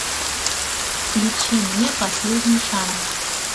включи мне последний шанс